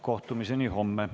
Kohtumiseni homme!